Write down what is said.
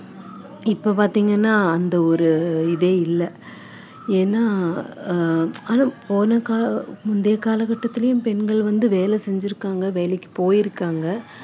இப்போ பாத்தீங்கன்னா அந்த ஒரு இதே இல்ல ஏன்னா அஹ் போன கா~ முந்தைய காலகட்டத்துலேயும் பெண்கள் வந்து வேலை செஞ்சிருக்காங்க வேலைக்கு போயிருக்காங்க